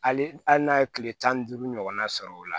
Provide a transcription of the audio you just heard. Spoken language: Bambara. Hali n'a ye kile tan ni duuru ɲɔgɔnna sɔrɔ o la